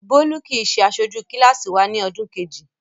Bólú kì í ṣe aṣojú kíláàsì wa ní ọdún kejì.